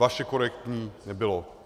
Vaše korektní nebylo.